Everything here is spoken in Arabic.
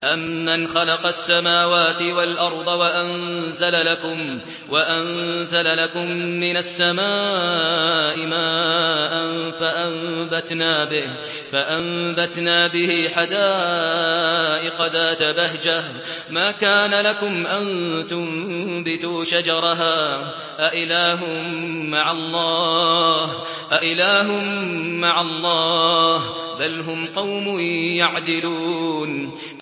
أَمَّنْ خَلَقَ السَّمَاوَاتِ وَالْأَرْضَ وَأَنزَلَ لَكُم مِّنَ السَّمَاءِ مَاءً فَأَنبَتْنَا بِهِ حَدَائِقَ ذَاتَ بَهْجَةٍ مَّا كَانَ لَكُمْ أَن تُنبِتُوا شَجَرَهَا ۗ أَإِلَٰهٌ مَّعَ اللَّهِ ۚ بَلْ هُمْ قَوْمٌ يَعْدِلُونَ